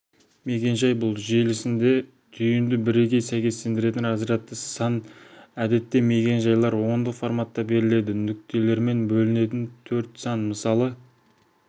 мекен-жай бұл желісінде түйінді бірегей сәйкестендіретін разрядты сан әдетте мекен-жайлар ондық форматта беріледі нүктелермен бөлінген төрт сан мысалы